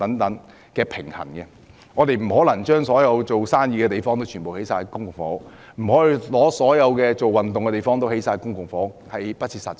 我們不可能把所有作業務或運動用途的地方，都用來興建公營房屋，這是不切實際的。